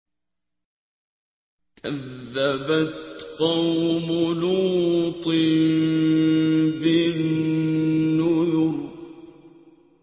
كَذَّبَتْ قَوْمُ لُوطٍ بِالنُّذُرِ